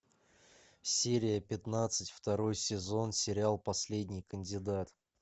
серия пятнадцать второй сезон сериал последний кандидат